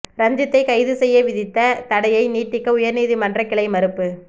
ரஞ்சித்தை கைது செய்ய விதித்த தடையை நீட்டிக்க உயர்நீதிமன்றக் கிளை மறுப்பு